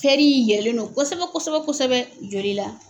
yɛlɛlen don kosɛbɛ kosɛbɛ kosɛbɛ joli la.